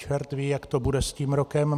Čert ví, jak to bude s tím rokem.